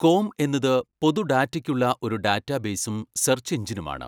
Com എന്നത് പൊതു ഡാറ്റയ്ക്കുള്ള ഒരു ഡാറ്റാബേസും സെർച്ച് എഞ്ചിനും ആണ്.